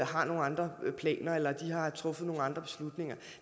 har nogle andre planer eller har truffet nogle andre beslutninger